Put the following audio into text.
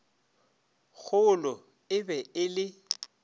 golo e be e le